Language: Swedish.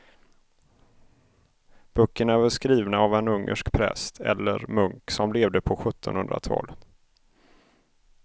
Böckerna är skrivna av en ungersk präst eller munk som levde på sjuttonhundratalet.